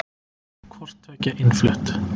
Hvort tveggja innflutt.